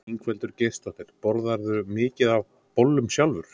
Ingveldur Geirsdóttir: Borðarðu mikið af bollum sjálfur?